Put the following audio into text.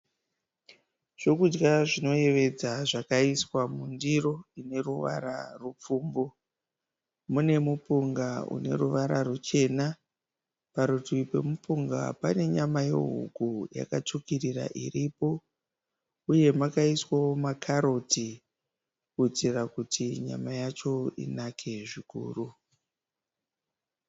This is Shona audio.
Zvokudya zvinoyevedza zvakaiswa mundiro ine ruvara rwupfumbu. Mune mupunga une ruvara ruchena, parutivi pemupunga pane nyama yehuku yakatsvukirira iripo uye makaiswawo makaroti kuitira kuti nyama yacho inake zvikuru.